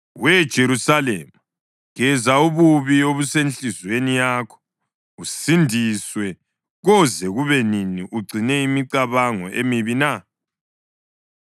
We Jerusalema, geza ububi obusenhliziyweni yakho usindiswe. Koze kube nini ugcine imicabango emibi na?